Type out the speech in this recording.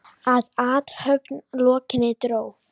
Að athöfn lokinni dró